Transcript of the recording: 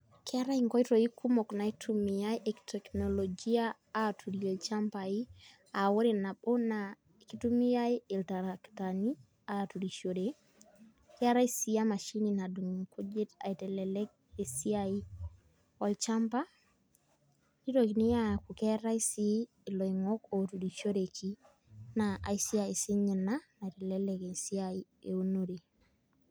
Keetae inkoitoi kumok naitumiai e teknolojia aturie ilchambai, ah ore nabo naa kitumiai iltarakitani aturishore, Keetae si emashini nadung' inkujit aitelelek esiai olchamba, nitokini aku keetae si iloing'ok oturushereki, naa aisiai sinye ina, naitelelek esiai eunore.